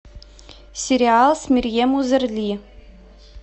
сериал с мерьем узерли